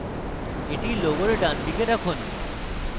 এটি logo ডানদিকে রাখুন